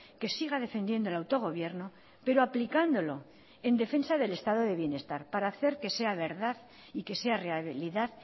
que siga defendiendo el autogobierno pero aplicándolo en defensa del estado de bienestar para hacer que sea verdad y que sea realidad